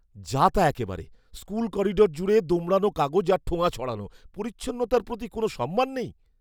যা তা একেবারে! স্কুল করিডর জুড়ে দোমড়ানো কাগজ আর ঠোঙা ছড়ানো। পরিচ্ছন্নতার প্রতি কোনও সম্মান নেই!